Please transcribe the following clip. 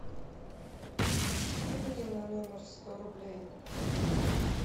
кинь мне на номер сто рублей